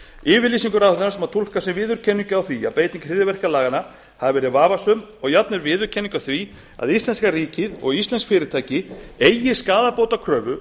yfirlýsingu ráðherrans má túlka sem viðurkenningu á því að beiting hryðjuverkalaganna hafi verið vafasöm og jafnvel viðurkenningu á því að íslenska ríkið og íslensk fyrirtæki eigi skaðabótakröfu